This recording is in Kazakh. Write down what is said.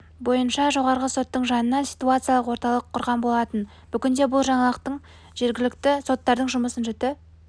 бойынша жоғары соттың жанынан ситуациялық орталық құрған болатын бүгінде бұл жаңалық жергілікті соттардың жұмысын жіті